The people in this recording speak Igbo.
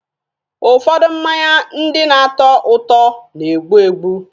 Ụfọdụ mmanya ndị na-atọ ụtọ na-egbu egbu.